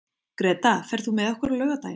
Greta, ferð þú með okkur á laugardaginn?